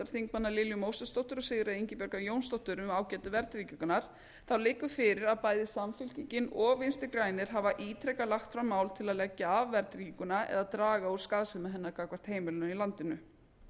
háttvirtum þingmanni lilju mósesdóttur og sigríðar ingibjargar jónsdóttur um ágæti verðtryggingarinnar liggur fyrir að bæði samfylkingin og vinstri grænir hafa ítrekað lagt fram mál til að leggja af verðtrygginguna eða draga úr skaðsemi hennar gagnvart heimilunum í landinu